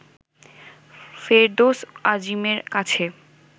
ফেরদৌস আজিমের কাছে